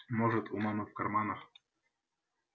может у мамы в карманах